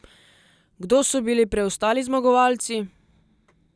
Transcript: Kdo so bili preostali zmagovalci?